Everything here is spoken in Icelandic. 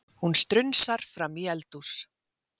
Hún strunsar fram í eldhús.